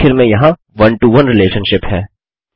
और आखिर में यहाँ one to ओने रिलेशनशिप है